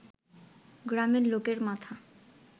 গ্রামের লোকের মাথা